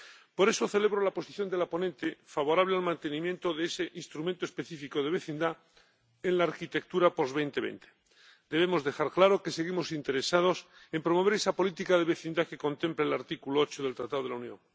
Por eso, celebro la posición de la ponente, favorable al mantenimiento de ese instrumento específico de vecindad en la arquitectura a partir de 2020 debemos dejar claro que seguimos interesados en promover esa política de vecindad que contempla el artículo 8 del Tratado de la Unión.